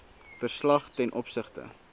verslag ten opsigte